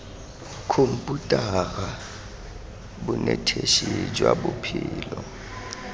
khomputara bonetetshi jwa tsa botshelo